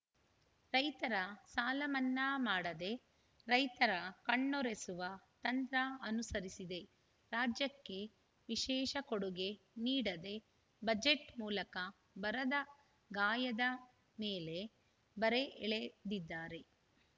ರೈತರ ಸಾಲಮನ್ನಾ ಮಾಡದೇ ರೈತರ ಕಣ್ಣೊರೆಸುವ ತಂತ್ರ ಅನುಸರಿಸಿದೆ ರಾಜ್ಯಕ್ಕೆ ವಿಶೇಷ ಕೊಡುಗೆ ನೀಡದೆ ಬಜೆಟ್‌ ಮೂಲಕ ಬರದ ಗಾಯದ ಮೇಲೆ ಬರೆ ಎಳೆದಿದ್ದಾರೆ